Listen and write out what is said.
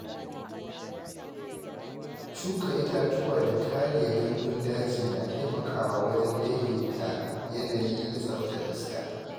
Shuka itatuwa da kare gandun daji na taimakawa wajen daidaita yanayi da tsaftar iska.